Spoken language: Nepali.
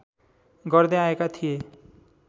गर्दै आएका थिए